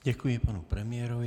Děkuji panu premiérovi.